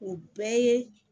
O bɛɛ ye